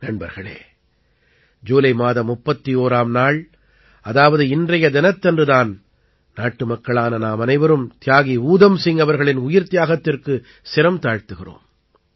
நண்பர்களே ஜூலை மாதம் 31ஆம் நாள் அதாவது இன்றைய தினத்தன்று தான் நாட்டுமக்களான நாமனைவரும் தியாகி ஊதம் சிங் அவர்களின் உயிர்த்தியாகத்திற்குத் சிரம் தாழ்த்துகிறோம்